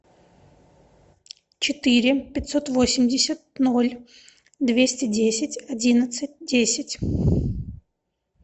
четыре пятьсот восемьдесят ноль двести десять одиннадцать десять